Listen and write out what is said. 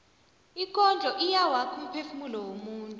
ikondlo iyawakha umphefumulo womuntu